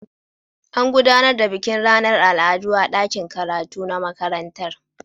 An gudanar da bikin ranar al'adu a dakin karatu na makarantar.